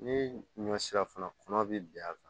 Ni ɲɔ sera fana kɔnɔ be bin a kan